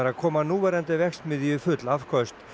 að koma núverandi verksmiðju í full afköst